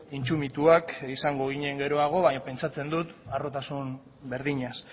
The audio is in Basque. intsumituak izango ginen geroago baina pentsatzen dut harrotasun berdinaz